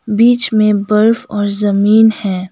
बीच में बर्फ और जमीन है।